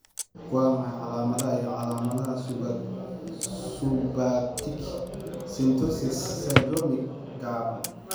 Waa maxay calaamadaha iyo calaamadaha Subaortic stenosis syndromke gaaban?